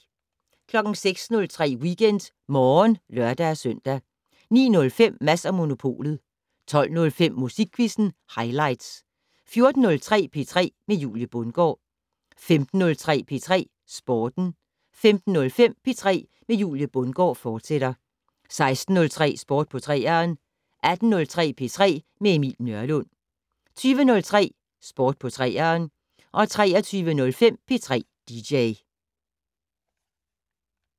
06:03: WeekendMorgen (lør-søn) 09:05: Mads & Monopolet 12:05: Musikquizzen highlights 14:03: P3 med Julie Bundgaard 15:03: P3 Sporten 15:05: P3 med Julie Bundgaard, fortsat 16:03: Sport på 3'eren 18:03: P3 med Emil Nørlund 20:03: Sport på 3'eren 23:05: P3 dj